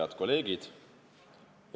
Head kolleegid!